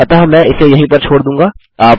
अतः मैं इसे यहीं पर छोड़ दूँगा